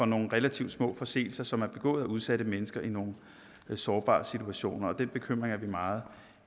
nogle relativt små forseelser som er begået af udsatte mennesker i nogle sårbare situationer og den bekymring er vi meget